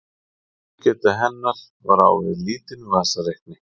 Vinnslugeta hennar var á við lítinn vasareikni.